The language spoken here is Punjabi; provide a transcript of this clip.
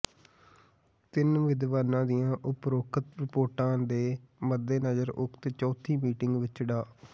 ਤਿੰਨ ਵਿਦਵਾਨਾਂ ਦੀਆਂ ਉਪਰੋਕਤ ਰਿਪੋਟਾਂ ਦੇ ਮੱਦੇਨਜ਼ਰ ਉਕਤ ਚੌਥੀ ਮੀਟਿੰਗ ਵਿੱਚ ਡਾ